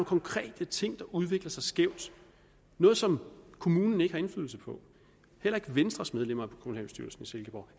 konkrete ting der udvikler sig skævt noget som kommunen ikke har indflydelse på heller ikke venstres medlemmer af kommunalbestyrelsen i silkeborg